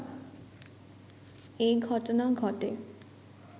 এ ঘটনা ঘটে